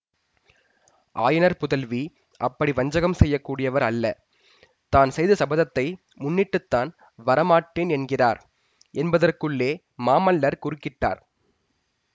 ஆயனர் புதல்வி அப்படி வஞ்சகம் செய்ய கூடியவர் அல்ல தான் செய்த சபதத்தை முன்னிட்டு தான் வர மாட்டேன் என்கிறார் என்பதற்குள்ளே மாமல்லர் குறுக்கிட்டார்